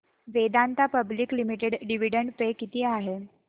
Vedanta public limited dividend pay किती आहे